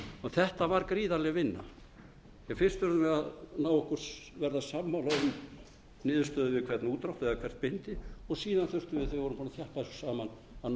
þetta var gríðarleg vinna fyrst urðum við að verða sammála um niðurstöðu við hvern útdrátt eða hvert bindi og bíða þurftum við þegar við voru búin að ná